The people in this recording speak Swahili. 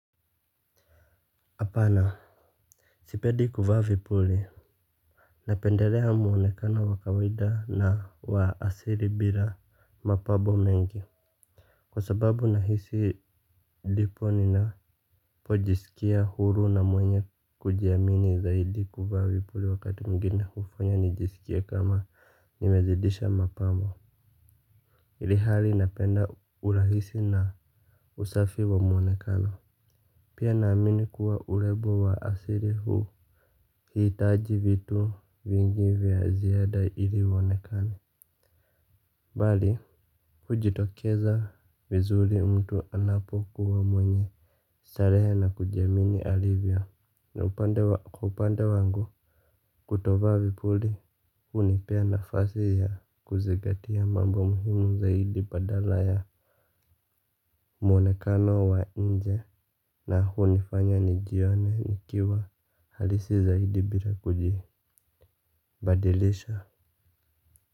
Hapana. Sipendi kuvaa vipuli. Napendelea muonekano wa kawaida na wa asili bila mapambo mengi. Kwa sababu nahisi lipo nina pojisikia huru na mwenye kujiamini zaidi kuvaa vipuli wakati mwingine hufanya nijisikie kama nimezidisha mapambo. Ilhali napenda urahisi na usafi wa muonekano. Pia naamini kuwa urembo wa asili huu Hii taji vitu vingi vya ziada ili uonekane. Mbali kujitokeza vizuri mtu anapokuwa mwenye starehe na kujiamini alivyo. Na upande wangu kutovaa vipuli hunipea nafasi ya kuzingatia mambo muhimu zaidi badala ya mwonekano wa nje na hunifanya nijione nikiwa halisi zaidi bila kujibadilisha.